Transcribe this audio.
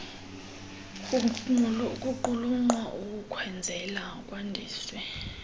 kuqulunqwa ukukwenzela kwandiswe